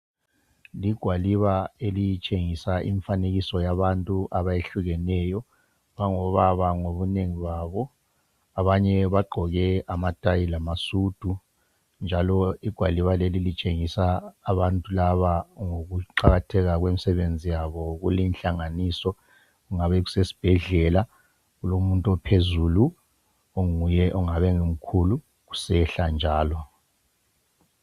ligwaliba elitshengisa imfanekiso wabantu abahlukeneyo abangobaba ngobunengi babo abanye bagqoke amatayi lamasudu njalo igwaliba lelilitshengisa abantu laba ngokuqakatheka kwemsebenzi yabo kule inhlanganiso kungabe kusesisbhedlela kulomuntu ophezulu ongabe enguye omkhulu kusehla njalo